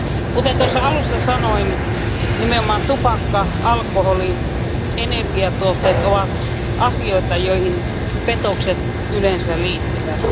Kuten tuossa alussa sanoin, nimenomaan tupakka, alkoholi ja energiatuotteet ovat asioita, joihin petokset yleensä liittyvät.